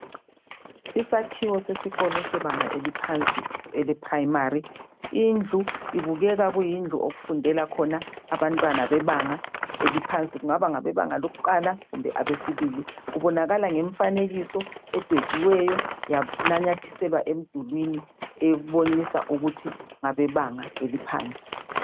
Isakhiwo sesikolo sebanga eliphansi elephuremari ,indlu ibukeka kuyindlu okufundela khona abantwana bebanga eliphansi. Kungaba ngabebanga lokuqala kumbe abesibili. Kubonakala ngemfanekiso edwetshiweyo yananyathiselwa emdulwini ebonisa ukuthi ngabebanga eliphansi.